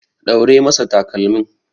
Ɗaure masa takalmin.